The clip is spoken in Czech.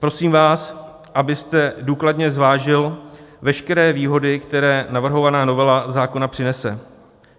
Prosím vás, abyste důkladně zvážil veškeré výhody, které navrhovaná novela zákona přinese.